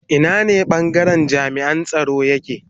Ina ne bangaren jami'an tsaro yake